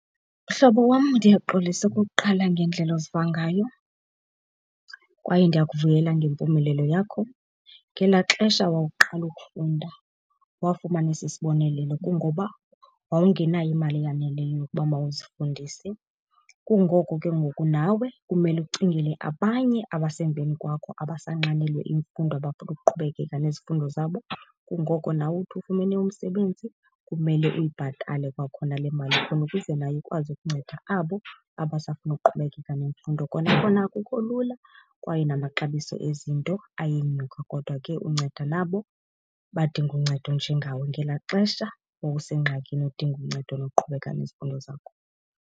Mhlobo wam, ndiyaxolisa okokuqala ngendlela oziva ngayo kwaye ndiyakuvuyela ngempumelelo yakho. Ngelaa xesha wawuqala ukufunda wafumana esi sibonelelo kungoba wawungenayo imali eyaneleyo ukuba mawuzifundise. Kungoko ke ngoku nawe kumele ucingele abanye abasemveni kwakho abasanxanelwe imfundo abafuna ukuqhubekeka nezifundo zabo, kungoko nawe uthi ufumene umsebenzi kumele uyibhatale kwakhona le mali khona ukuze nayo ikwazi ukunceda abo abasafuna ukuqhubekeka nemfundo. Kona kona akukho lula kwaye namaxabiso ezinto ayenyuka, kodwa ke unceda nabo badinga uncedo njengawe ngelaa xesha wawusengxakini udinga uncedo lokuqhubeka nezifundo zakho.